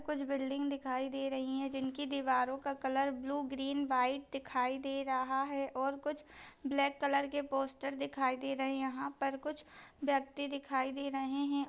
कुछ बिल्डिंग दिखाई दे रही है जिनके दीवारों का कलर ब्लू ग्रीन वाइट दिखाई दे रहा है और कुछ ब्लैक कलर के पोस्टर दिखाई दे रहे है यहाँ पर कुछ व्यक्ति देखाई दे रहे हैं।